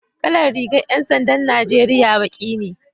Kalar rigar 'yan sandan Najeriya baki ne